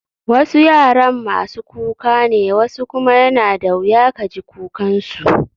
Wasu yaran masu kuka ne wasu kuma yana da wuya ka ji kukan su.